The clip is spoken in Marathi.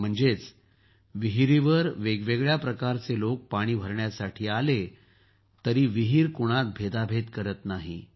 म्हणजे विहिरीवर वेगवेगळ्या प्रकारचे लोक पाणी भरण्यासाठी आले तरीही विहीर कुणात भेदाभेद करत नाही